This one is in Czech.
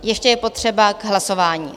Ještě je potřeba k hlasování.